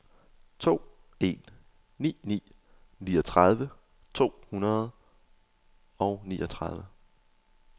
to en ni ni niogtredive to hundrede og niogtredive